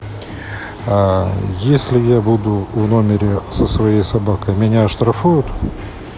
если я буду в номере со своей собакой меня оштрафуют